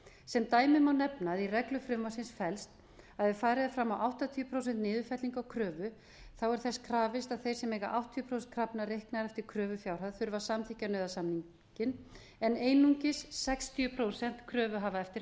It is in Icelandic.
sem dæmi má nefna að í reglum frumvarpsins felst að ef farið er fram á áttatíu prósent niðurfellingu á kröfu er þess krafist að þeir sem eiga áttatíu prósent krafna reiknað eftir kröfufjárhæð þurfa að samþykkja nauðasamninginn á einungis sextíu prósent krafna eftir